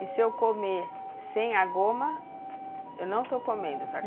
E se eu comer sem a goma, eu não estou comendo o taca